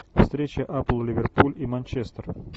встреча апл ливерпуль и манчестер